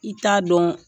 I t'a dɔn